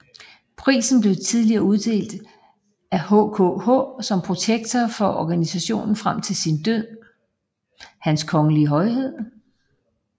Prisen blev tidligere uddelt af HKH som var protektor for organisationen frem til sin død